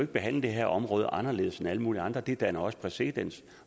behandle det her område anderledes end alle mulige andre det danner også præcedens